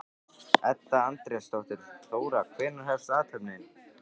Edda Andrésdóttir: Þóra, hvenær hefst athöfnin?